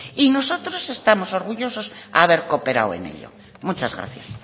y nosotros estamos orgullosos de haber cooperado en ello muchas gracias